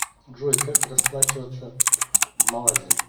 джой как расплачиваться в малайзии